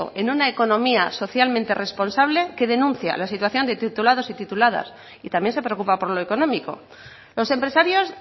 en una economía socialmente responsable que denuncia la situación de titulados y tituladas y también se preocupa por lo económico los empresarios